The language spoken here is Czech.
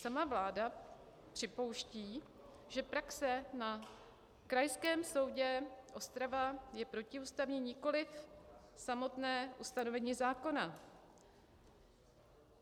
Sama vláda připouští, že praxe na Krajském soudě Ostrava je protiústavní, nikoliv samotné ustanovení zákona.